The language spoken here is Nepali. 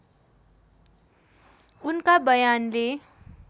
उनका बयानले